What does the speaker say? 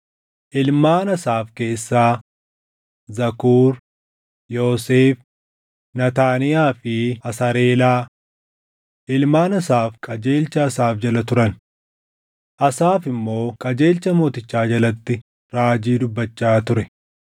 Ilmaan Asaaf keessaa: Zakuur, Yoosef, Naataaniyaa fi Asareelaa. Ilmaan Asaaf qajeelcha Asaaf jala turan. Asaaf immoo qajeelcha mootichaa jalatti raajii dubbachaa ture.